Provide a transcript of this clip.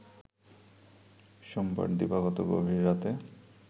সোমবার দিবাগত গভীর রাতে